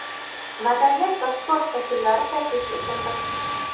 madaniyat va sport vakillari taklif etildi.